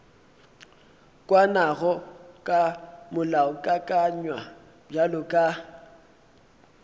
kwanago ka molaokakanywa bjalo ka